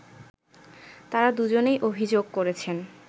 তারা দুজনেই অভিযোগ করেছেন